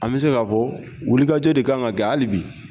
An bɛ se ka fɔ wulikajɔ de kan ka kɛ hali bi.